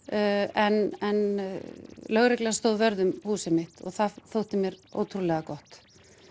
en lögreglan stóð vörð um húsið mitt og það þótti mér ótrúlega gott